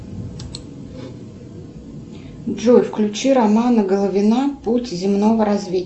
джой включи романа головина путь земного